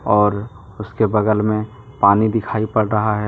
और उसके बगल में पानी दिखाई पड़ रहा है।